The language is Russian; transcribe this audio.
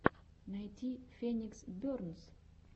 найти феникс бернс